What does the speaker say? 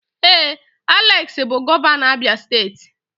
Ee, Alex bụ gọvanọ Abia steeti